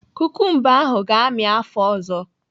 Kukumba ahụ ga-amị afọ ọzọ.